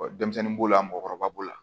denmisɛnnin b'o la mɔgɔkɔrɔba b'o la